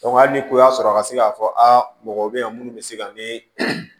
hali ni ko y'a sɔrɔ a ka se ka fɔ a mɔgɔ be yen munnu be se ka ne